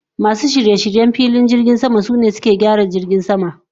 Masun shirye-shiryen filin jirgin sama, sune suke gyaran filin jirgin sama.